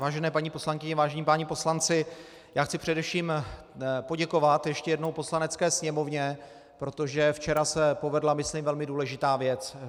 Vážené paní poslankyně, vážení páni poslanci, já chci především poděkovat ještě jednou Poslanecké sněmovně, protože včera se povedla myslím velmi důležitá věc.